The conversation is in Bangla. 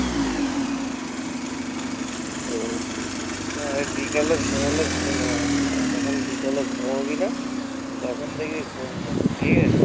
হম বিকালে ঘুমালে ঘুম হয়না আর যখন বিকালে ঘুমাবি না, তখন দেখবি ঘুম পাবে ঠিক আছে।